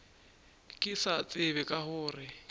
ke sa tsebe ka gore